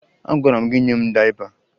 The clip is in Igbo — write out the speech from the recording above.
Agwara m gị nye m dayịpa!